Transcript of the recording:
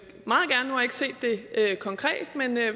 set det konkret